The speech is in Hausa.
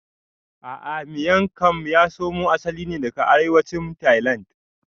A'a Miang kam ya samo asali ne daga arewacin tailand